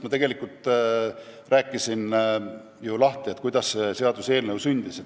Ma ju rääkisin, kuidas see seaduseelnõu sündis.